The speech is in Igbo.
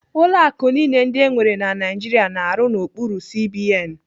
Ụlọ akụ niile ndị enwere na Naijiria na-arụ n'okpuru CBN.